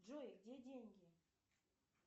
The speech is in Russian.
джой где деньги